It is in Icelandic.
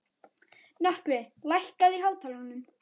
Nökkvi, lækkaðu í hátalaranum.